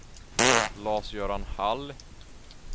Lars-Göran Hall